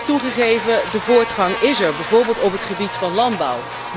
Toegegeven, de vooruitgang is er, bijvoorbeeld op het gebied van landbouw.